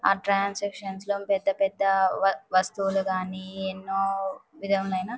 ఆ ట్రాంస్కిప్షన్స్ లో పెద్ద పెద్ద వస్తువులు గాని ఎన్నో విధములైన--